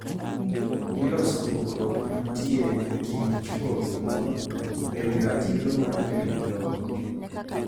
Iloso pogruok mantie e kind chwo gi mon e wi ratiro mar bedo gi lowo.